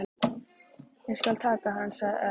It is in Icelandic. Ég skal taka hann sagði Örn.